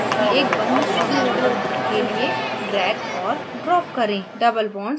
6 carbon परमाणुओं की एक बंद श्रृंखला बनाने के लिए drag और drop करें